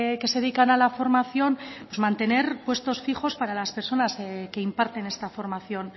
que se dedican a la formación mantener puestos fijos para las personas que imparten esta formación